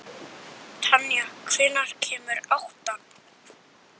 Tanja, hvenær kemur áttan?